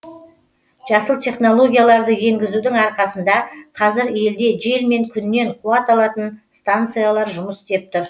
жасыл технологияларды енгізудің арқасында қазір елде жел мен күннен қуат алатын станциялар жұмыс істеп тұр